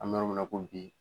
An bɛ yɔrɔ min na i ko bi.